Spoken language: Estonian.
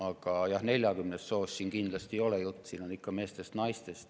Aga 40 soost siin kindlasti juttu ei ole, siin on jutt ikka meestest ja naistest.